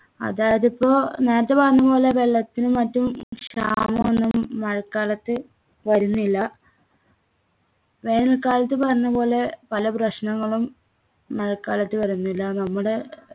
അതായത് ഇപ്പൊ നേരത്തെ പറഞ്ഞ പോലെ വെള്ളത്തിനും മറ്റും ക്ഷാമൊന്നും മഴക്കാലത്ത് വരുന്നില്ല വേനൽക്കാലത്ത് പറഞ്ഞപോലെ പല പ്രശ്നങ്ങളും മഴക്കാലത്ത് വരുന്നില്ല നമ്മുടെ